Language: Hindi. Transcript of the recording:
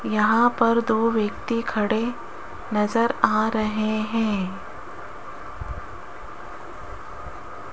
यहां पर दो व्यक्ति खड़े नजर आ रहे हैं।